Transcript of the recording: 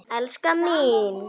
Elskan mín!